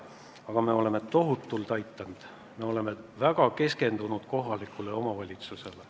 Aga me oleme tohutult aidanud, me oleme väga keskendunud kohalikele omavalitsustele.